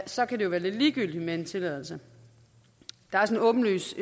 så kan det jo være lidt ligegyldigt med en tilladelse der er så et åbenlyst